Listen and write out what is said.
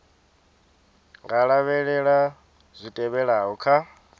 nga lavhelela zwi tevhelaho kha